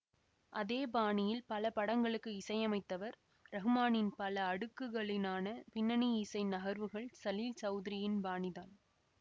அதே பாணியில் பல படங்களுக்கு இசையமைத்தவர் ரஹ்மானின் பல அடுக்குகளினான பின்னணி இசை நகர்வுகள் சலீல் சௌதுரியின் பாணி தான்